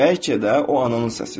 Bəlkə də o ananın səsidir.